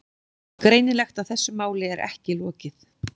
Greinilegt að þessu máli er ekki lokið.